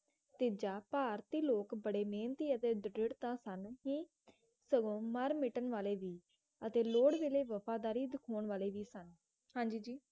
ਤੇਜ਼ ਭਾਰਤੀ ਲੋਕ ਬੜੇ ਮਿਹਨਤੀ ਅਤੇ ਦ੍ਰਿੜਤਾ ਸਨ ਹੀ ਸਗੋਂ ਮਰ ਮਿਟਣ ਵਾਲੇ ਵੀ ਅਤੇ ਲੋੜ ਵੇਲੇ ਵਫ਼ਾਦਾਰੀ ਦਿਖਾਉਣ ਵਾਲੇ ਵੀ ਸਨ ਹਾਂਜੀ ਜੀ